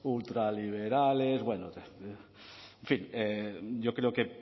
ultraliberales bueno en fin yo creo que